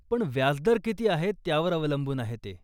पण व्याजदर किती आहे त्यावर अवलंबून आहे ते.